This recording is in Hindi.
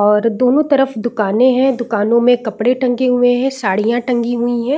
और दोनों तरफ दुकानें है दुकानों में कपड़े टंगे हुए है सडिया टंगी हुई है।